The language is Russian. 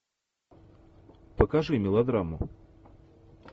покажи мелодраму